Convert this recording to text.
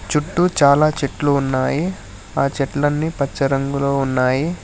చుట్టూ చాలా చెట్లు ఉన్నాయి ఆ చెట్లన్నీ పచ్చ రంగులో ఉన్నాయి.